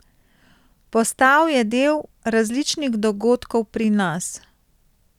Postal je del različnih dogodkov pri nas.